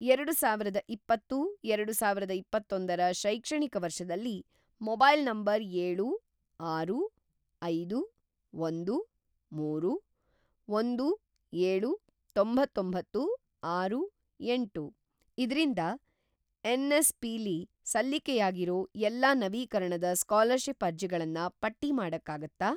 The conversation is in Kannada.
ಎರಡುಸಾವಿರದ ಇಪ್ಪತ್ತು - ಎರಡುಸಾವಿರದ ಇಪ್ಪತ್ತೊಂದ ರ ಶೈಕ್ಷಣಿಕ ವರ್ಷದಲ್ಲಿ ಮೊಬೈಲ್ ನಂಬರ್‌ ಏಳು, ಆರು, ಐದು, ಒಂದು, ಮೂರು, ಒಂದು, ಏಳು, ತೊಂಬತ್ತೊಂಬತ್ತು, ಆರು, ಏಂಟು ಇದ್ರಿಂದ ಎನ್.ಎಸ್.ಪಿ.ಲಿ ಸಲ್ಲಿಕೆಯಾಗಿರೋ ಎಲ್ಲಾ ನವೀಕರಣದ ಸ್ಕಾಲರ್‌ಷಿಪ್‌ ಅರ್ಜಿಗಳನ್ನ ಪಟ್ಟಿ ಮಾಡಕ್ಕಾಗತ್ತಾ?